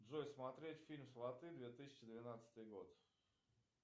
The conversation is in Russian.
джой смотреть фильм сваты две тысячи двенадцатый год